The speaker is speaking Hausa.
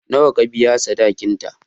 Nawa ka biya sadakinta?